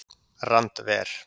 Randver